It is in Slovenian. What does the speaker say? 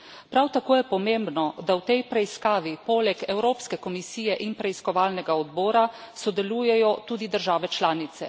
Prav tako je pomembno, da v tej preiskavi poleg Evropske komisije in preiskovalnega odbora sodelujejo tudi države članice.